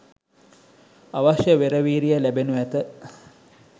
අවශ්‍ය වෙර වීරිය ලැබෙනු ඇත.